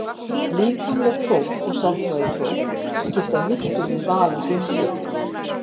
Líkamleg próf og sálfræðipróf skipta miklu við val á geimförum.